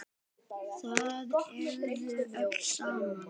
Það ægði öllu saman